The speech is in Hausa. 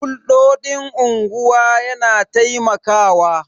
Hulɗoɗin unguwa yana taimakawa